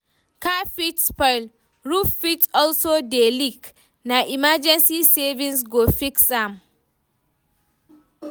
Car fit spoil, roof fit also dey leak, na emergency savings go fix am.